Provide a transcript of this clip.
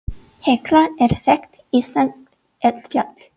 Hekla er þekkt íslenskt eldfjall.